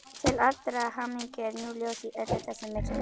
Til allrar hamingju er nú ljós í öllu þessu myrkri.